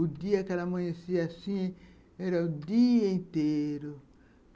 O dia que ela amanhecia assim, era o dia inteiro.